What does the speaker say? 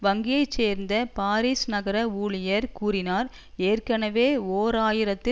வங்கியைச் சேர்ந்த பாரிஸ் நகர ஊழியர் கூறினார் ஏற்கெனவே ஓர் ஆயிரத்தி